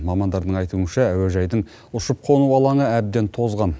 мамандардың айтуынша әуежайдың ұшып қону алаңы әбден тозған